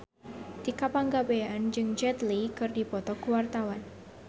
Tika Pangabean jeung Jet Li keur dipoto ku wartawan